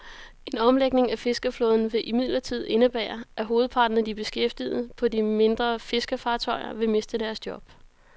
En omlægning af fiskerflåden vil imidlertid indebære, at hovedparten af de beskæftigede på de mindre fiskefartøjer vil miste deres job.